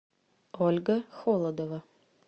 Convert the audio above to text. ольга холодова